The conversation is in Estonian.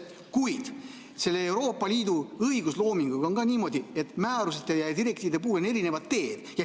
Kuid Euroopa Liidu õigusloominguga on ka niimoodi, et määruste ja direktiivide puhul on erinevad teed.